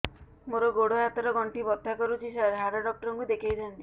ମୋର ଗୋଡ ହାତ ର ଗଣ୍ଠି ବଥା କରୁଛି ସାର ହାଡ଼ ଡାକ୍ତର ଙ୍କୁ ଦେଖାଇ ଥାନ୍ତି